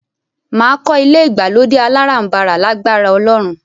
Máa kọ́ ilé ìgbàlódé aláràǹbarà lágbára Ọlọ́run